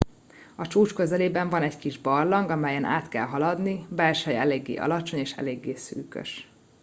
a csúcs közelében van egy kis barlang amelyen át kell haladni belseje eléggé alacsony és eléggé szűkös